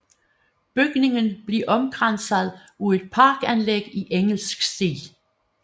Bygningen blev omkranset af et parkanlæg i engelsk stil